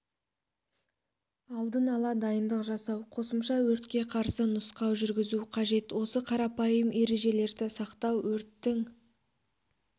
алдын ала дайындық жасау қосымша өртке қарсы нұсқау жүргізу қажет осы қарапайым ережелерді сақтау өрттің